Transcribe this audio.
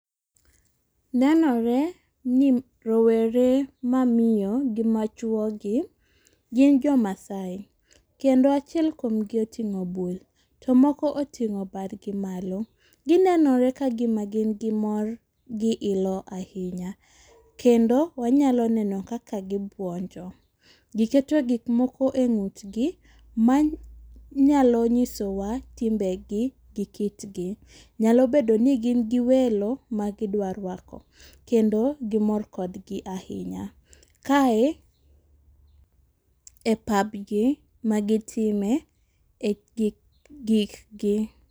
Nenore ni rowere mamiyo gi machuo gi gin jo masai kendo achiel kuom gi oting'o bul to moko oting'o badgi malo . Gineno ka gima gin gi mor gi ilo ahinya. Kendo wanyalo neno kaka gibuonjo, giketo gik moko e ng'utgi manyalo nyisowa timbegi gi kitgi. Nyalo bedo ni gin gi welo ma gidwa rwako kendo gimor kodgi ahinya. Kae e pabgi magitime gi gik gi.